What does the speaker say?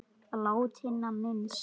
Látinna minnst.